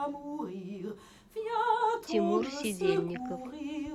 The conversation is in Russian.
тимур сидельников